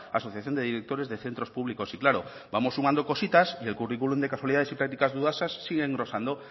asociación de directores de centros públicos y claro vamos sumando cositas y el curriculum de casualidades y practicas dudosas sigue engrosando